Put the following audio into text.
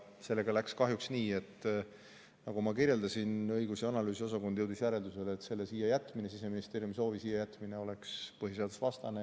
Sellega läks kahjuks nii, nagu ma kirjeldasin, et õigus- ja analüüsiosakond jõudis järeldusele, et Siseministeeriumi soovi siia jätmine oleks põhiseadusevastane.